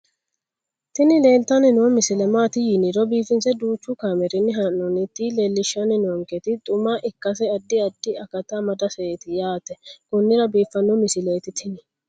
tini leeltanni noo misile maaati yiniro biifinse danchu kaamerinni haa'noonnita leellishshanni nonketi xuma ikkase addi addi akata amadaseeti yaate konnira biiffanno misileeti tini